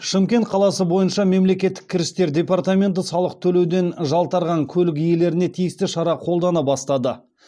шымкент қаласы бойынша мемлекеттік кірістер департаменті салық төлеуден жалтарған көлік иелеріне тиісті шара қолдана бастады